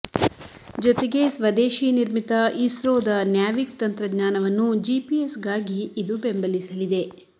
ಜೊತೆಗೆ ಸ್ವದೇಶಿ ನಿರ್ಮಿತ ಇಸ್ರೋದ ನ್ಯಾವಿಕ್ ತಂತ್ರಜ್ಞಾನವನ್ನು ಜಿಪಿಎಸ್ಗಾಗಿ ಇದು ಬೆಂಬಲಿಸಲಿದೆ